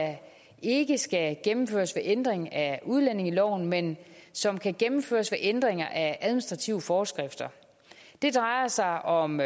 ikke skal gennemføres ved ændring af udlændingeloven men som kan gennemføres ved ændringer af administrative forskrifter det drejer sig om